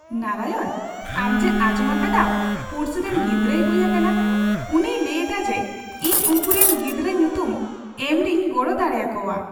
ᱱᱟᱨᱟᱭᱚᱱ, ᱟᱢ ᱪᱮᱫ ᱟᱸᱡᱚᱢ ᱟᱠᱟᱫᱟᱢ ᱯᱩᱲᱥᱤ ᱨᱮᱱ ᱜᱤᱫᱽᱨᱟᱹᱭ ᱦᱩᱭ ᱟᱠᱟᱱᱟ ? ᱩᱱᱤᱭ ᱞᱟᱹᱭᱞᱮᱫᱟ ᱡᱮ ᱤᱧ ᱩᱱᱠᱩᱨᱮᱱ ᱜᱤᱫᱽᱨᱟᱹ ᱧᱩᱛᱩᱢ ᱮᱢ ᱨᱮᱧ ᱜᱚᱲᱚ ᱫᱟᱲᱮ ᱟᱠᱚᱣᱟ ᱾